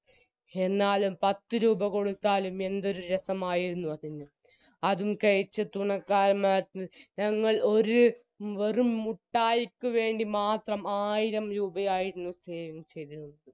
എന്നാലും പത്തുരൂപ കൊടുത്താലും എന്തൊരു രസമായിരുന്നു അതിന് അതും കഴിച്ചെത്തുന്ന മാർക്ക് ഞങ്ങൾ ഒരു വെറും മുട്ടായിക്കുവേണ്ടിമാത്രം ആയിരംരൂപയായിരുന്നു save ചെയ്തിരുന്നത്